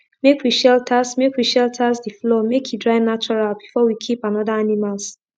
make we shelters make we shelters de floor make e dry natural before we keep another animals